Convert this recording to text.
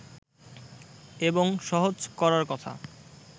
এবং সহজ করার কথা